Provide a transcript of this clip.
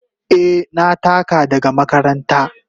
Eh, na taka daga makaranta.